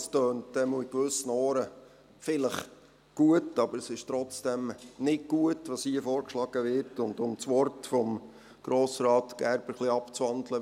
Es klingt in gewissen Ohren vielleicht gut, aber es ist trotzdem nicht gut, was hier vorgeschlagen wird, und um die Worte von Grossrat Gerber etwas abzuwandeln: